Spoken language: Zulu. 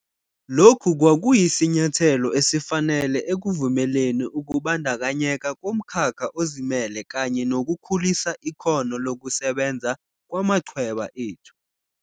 Lokhu kwakuyisinyathelo esifanele ekuvumeleni ukubandakanyeka komkhakha ozimele kanye nokukhulisa ikhono lokusebenza kwamachweba ethu.